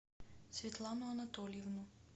светлану анатольевну